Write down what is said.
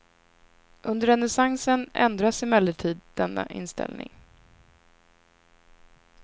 Under renässansen ändras emellertid denna inställning.